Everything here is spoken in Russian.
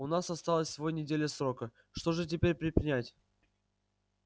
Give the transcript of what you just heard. у нас осталась всего неделя срока что же теперь предпринять